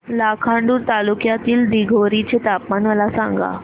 लाखांदूर तालुक्यातील दिघोरी चे तापमान मला सांगा